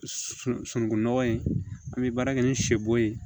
Sunungunɔgɔ in an bɛ baara kɛ ni sɛbo ye